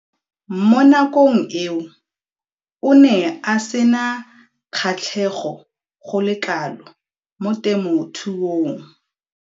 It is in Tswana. Mo nakong eo o ne a sena kgatlhego go le kalo mo temothuong.